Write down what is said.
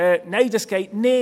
«Nein, das geht nicht!